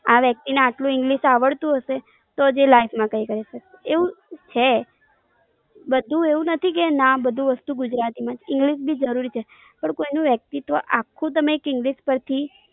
આ વ્યક્તિ ને આટલું English આવડતું હશે, તો જ એ Life માં કૈક કરી શકશે, એવું છે, બધું એવું નથી કે ના બધું વસ્તુ ગુજરાતીમાં, English બી જરૂરી છે. પણ કોઈ નું વ્યક્તિત્વ આખું તમે એક English પરથી,